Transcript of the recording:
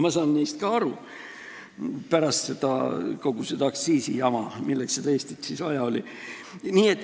Ma saan neist ka aru pärast kogu seda aktsiisijama, sest milleks seda Eestit siis vaja oli.